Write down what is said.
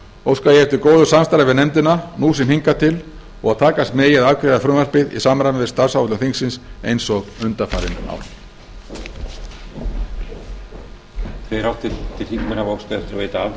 óska ég eftir góðu samstarfi við nefndina nú sem hingað til og að takast megi að afgreiða frumvarpið í samræmi við starfsáætlun þingsins eins og undanfarin ár